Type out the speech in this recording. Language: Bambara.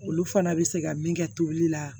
Olu fana bɛ se ka min kɛ tobili la